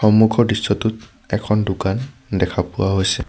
সন্মুখৰ দৃশ্যটোত এখন দোকান দেখা পোৱা হৈছে।